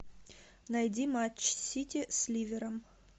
найди матч сити с ливером